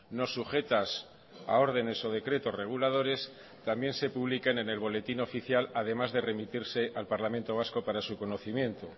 no sujetas a órdenes o decretos reguladores también se publiquen en el boletín oficial además de remitirse al parlamento vasco para su conocimiento